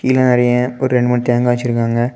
கீழ நெறைய ஒரு ரெண்டு மூணு தேங்காய் வச்சிருக்காங்க.